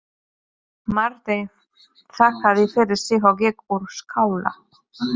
Marteinn þakkaði fyrir sig og gekk úr skála.